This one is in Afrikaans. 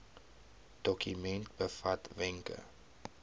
dokument bevat wenke